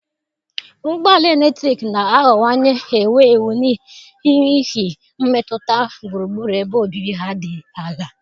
Ụgbọ ala eletrik na-aghọwanye ewu ewu n'ihi mmetụta gburugburu ebe obibi ha dị ala.